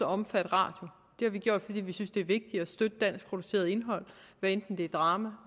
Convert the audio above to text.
omfatte radio det har vi gjort fordi vi synes det er vigtigt at støtte et danskproduceret indhold hvad enten det er drama